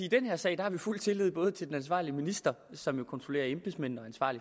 i den her sag har fuld tillid både til den ansvarlige minister som jo kontrollerer embedsmændene